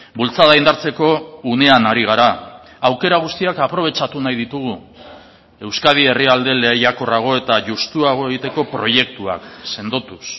bultzada indartzeko unean ari gara aukera guztiak aprobetxatu nahi ditugu euskadi herrialde lehiakorrago eta justuago egiteko proiektuak sendotuz